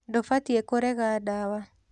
Ndũbatiĩ kũrega ndawa.